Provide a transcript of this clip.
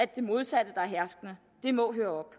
det modsatte der er herskende og det må høre